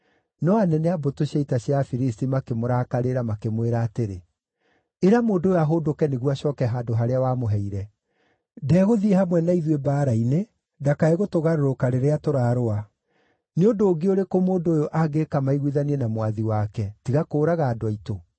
No anene a mbũtũ cia ita cia Afilisti makĩmũrakarĩra, makĩmwĩra atĩrĩ, “Ĩra mũndũ ũyũ ahũndũke nĩguo acooke handũ harĩa wamũheire. Ndegũthiĩ hamwe na ithuĩ mbaara-inĩ ndakae gũtũgarũrũka rĩrĩa tũrarũa. Nĩ ũndũ ũngĩ ũrĩkũ mũndũ ũyũ angĩĩka maiguithanie na mwathi wake, tiga kũũraga andũ aitũ?